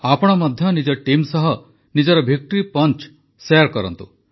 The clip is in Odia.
ଆପଣ ମଧ୍ୟ ନିଜ ଟିମ ସହ ନିଜର ଭିକ୍ଟୋରୀ ପଞ୍ଚ ଶେୟାର କରନ୍ତୁ